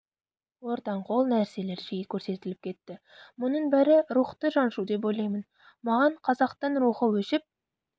ортанқол нәрселер жиі көрсетіліп кетті мұның бәрі рухты жаншу деп ойлаймын маған қазақтың рухы өшіп